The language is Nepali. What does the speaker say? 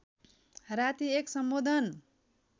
राती एक सम्बोधन